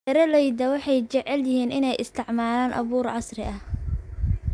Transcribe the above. Beeralayda waxay jecel yihiin inay isticmaalaan abuur casri ah.